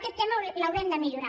aquest tema l’haurem de millorar